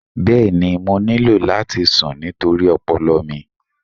Bẹẹni, mo nílò láti sùn nítorí ọpọlọ mi.